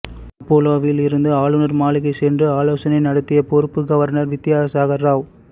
அப்பல்லோவில் இருந்து ஆளுநர் மாளிகை சென்று ஆலோசனை நடத்திய பொறுப்பு கவர்னர் வித்யாசாகர் ராவ்